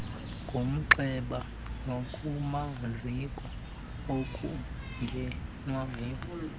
ngomnxeba nakumaziko ekungenwayo